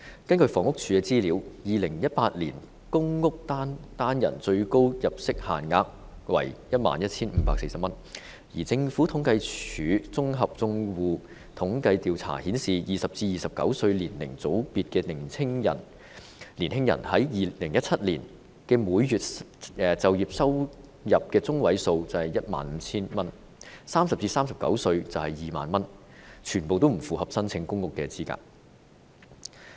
根據房屋署的資料 ，2018 年公屋單人最高入息限額為 11,540 元，而香港政府統計處綜合住戶統計調查顯示 ，20 歲至29歲年齡組別的年青人在2017年的每月就業收入中位數為 15,000 元 ；30 歲至39歲是2萬元，全部不符合申請公屋的資格。